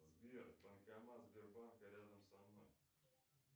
сбер банкомат сбербанка рядом со мной